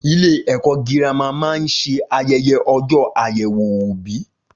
Ilé ẹ̀kọ́ girama máa ń ṣe ayẹyẹ ọjọ́ àyèwò òbí